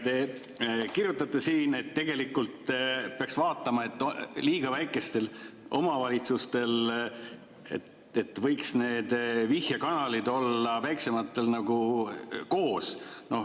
Te kirjutate siin, et tegelikult peaks vaatama, et väiksematel omavalitsustel võiks need vihjekanalid olla nagu koos.